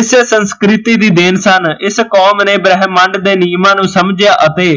ਇਸੇ ਸੰਸਕ੍ਰਿਤੀ ਦੀ ਦੇਣ ਸਨ ਇਸ ਕੌਮ ਨੇ ਬ੍ਰਹਮੰਡ ਦੇ ਨਿਯਮਾਂ ਨੂੰ ਸਮਜਿਆ ਅਤੇ